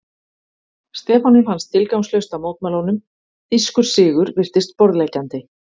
Stefáni fannst tilgangslaust að mótmæla honum, þýskur sigur virtist borðleggjandi.